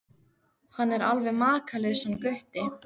Hann er alveg makalaus hann Gutti.